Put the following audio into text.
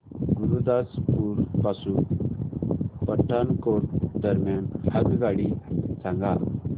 गुरुदासपुर पासून पठाणकोट दरम्यान आगगाडी सांगा